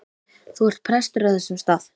Þú ert prestur á þessum stað.